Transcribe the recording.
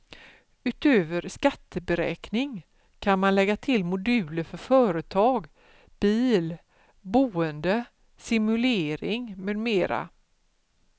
Utöver skatteberäkning kan man lägga till moduler för företag, bil, boende, simulering med mera.